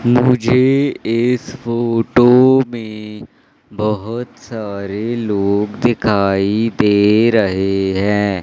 मुझे इस फोटो में बहोत सारे लोग दिखाई दे रहे हैं।